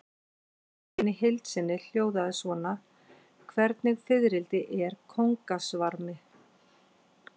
Spurningin í heild sinni hljóðaði svona: Hvernig fiðrildi er kóngasvarmi?